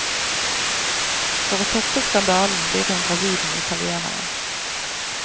For å toppe skandalen blir hun gravid med italieneren.